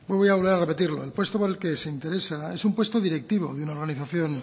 voy a volver a repetirlo el puesto al que se interesa es un puesto directivo de una organización